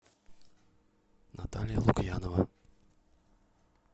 наталья лукьянова